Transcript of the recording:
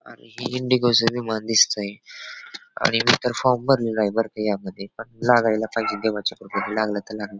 आणि ही इंडिगो च विमान दिसतंय मी तर फॉर्म भरला आहे बरं का या मध्ये लागायला पाहिजे देवाच्या कृपेने लागला तर लागला.